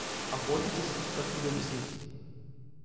охотитесь как тебе объяснить